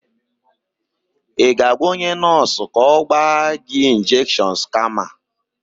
Ị ga-agwa onye nọọsụ ka ọ gba gị injekshons kama?